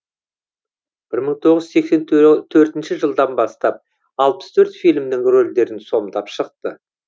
бір мың тоғыз жүз сексен төртінші жылдан бастап алпыс төрт фильмнің рөлдерін сомдап шықты